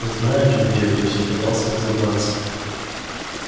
знаешь грег я все пытался разобраться